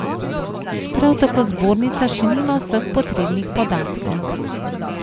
Prav tako zbornica še nima vseh potrebnih podatkov.